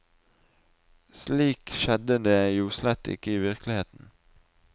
Slik skjedde det jo slett ikke i virkeligheten.